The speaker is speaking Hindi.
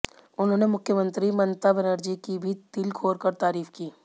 उन्होंने मुख्यमंत्री ममता बनर्जी की भी दिल खोलकर तारीफ की